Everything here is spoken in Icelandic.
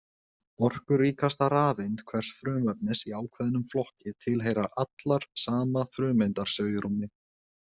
Orkuríkasta rafeind hvers frumefnis í ákveðnum flokki tilheyra allar sama frumeindarsvigrúmi.